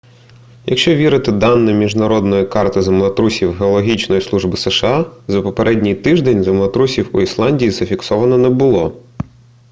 якщо вірити даним міжнародної карти землетрусів геологічної служби сша за попередній тиждень землетрусів у ісландії зафіксовано не було